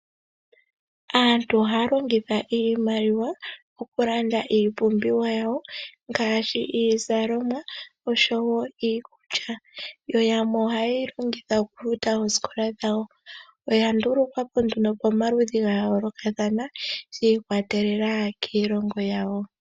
Aantu ohaya longitha iimaliwa okulanda iipumbiwa yawo ngaashi iizalomwa oshowo iikulya. Yamwe oha yeyi longitha okufuta oosikola dhawo, oya ndulukwa po pamaludhi ga yoolokathana shi ikwatelela kiilongo yawo.